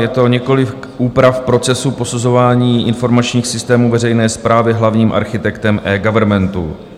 Je to několik úprav procesu posuzování informačních systémů veřejné správy hlavním architektem eGovernmentu.